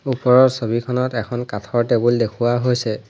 ওপৰৰ ছবিখনত এখন কাঠৰ টেবুল দেখুওৱা হৈছে।